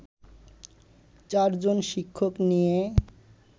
চারজন শিক্ষক নিয়ে